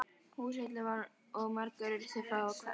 Húsfyllir var og margir urðu frá að hverfa.